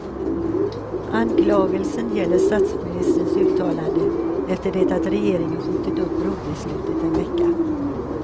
Anklagelsen gäller statsministerns uttalande efter det att regeringen skjutit upp brobeslutet en vecka.